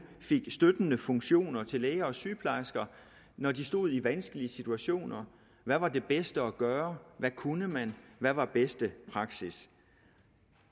støttende funktioner til læger og sygeplejersker når de stod i vanskelige situationer hvad var det bedste at gøre hvad kunne man hvad var bedste praksis